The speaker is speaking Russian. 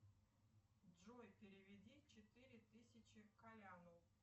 джой переведи четыре тысячи коляну